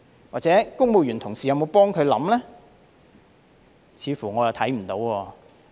或者公務員同事有否助他考慮呢？